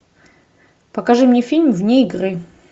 покажи мне фильм вне игры